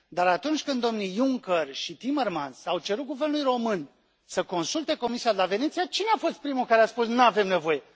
Dar atunci când domnii Juncker și Timmermans au cerut Guvernului român să consulte Comisia de la Veneția, cine a fost primul care a spus Nu avem nevoie?